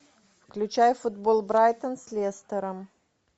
включай футбол брайтон с лестером